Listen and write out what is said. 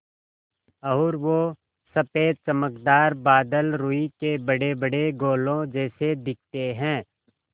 और वो सफ़ेद चमकदार बादल रूई के बड़ेबड़े गोलों जैसे दिखते हैं